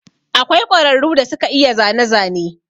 Akwai ƙwararu da suke iya zane zane.